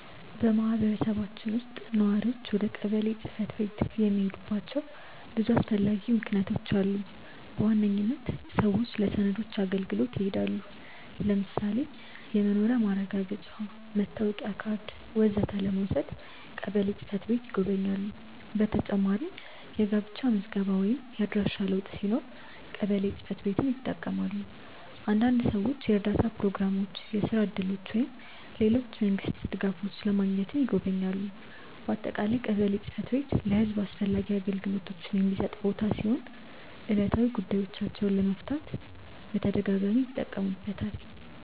በማህበረሰባችን ውስጥ ነዋሪዎች ወደ ቀበሌ ጽ/ቤት የሚሄዱባቸው ብዙ አስፈላጊ ምክንያቶች አሉ። በዋነኝነት ሰዎች ለሰነዶች አገልግሎት ይሄዳሉ። ለምሳሌ የመኖሪያ ማረጋገጫ፣ መታወቂያ ካርድ ወዘተ ለመውሰድ ቀበሌ ጽ/ቤት ይጎበኛሉ። በተጨማሪም የጋብቻ ምዝገባ ወይም የአድራሻ ለውጥ ሲኖር ቀበሌ ጽ/ቤትን ይጠቀማሉ። አንዳንድ ሰዎች የእርዳታ ፕሮግራሞች፣ የስራ እድሎች ወይም ሌሎች የመንግስት ድጋፎች ለማግኘትም ይጎበኛሉ። በአጠቃላይ ቀበሌ ጽ/ቤት ለህዝብ አስፈላጊ አገልግሎቶችን የሚሰጥ ቦታ ሲሆን ሰዎች ዕለታዊ ጉዳዮቻቸውን ለመፍታት በተደጋጋሚ ይጠቀሙበታል።